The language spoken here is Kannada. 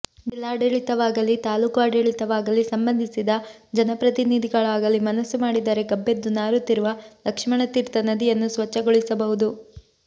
ಜಿಲ್ಲಾಡಳಿತವಾಗಲೀ ತಾಲೂಕು ಆಡಳಿತವಾಗಲೀ ಸಂಬಂಧಿಸಿದ ಜನಪ್ರತಿನಿಧಿಗಳಾಗಲೀ ಮನಸ್ಸು ಮಾಡಿದರೆ ಗಬ್ಬೆದ್ದು ನಾರುತ್ತಿರುವ ಲಕ್ಷ್ಮಣತೀರ್ಥ ನದಿಯನ್ನು ಸ್ವಚ್ಛಗೊಳಿಸಬಹುದು